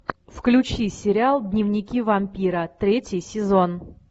включи сериал дневники вампира третий сезон